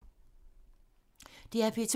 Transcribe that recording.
DR P2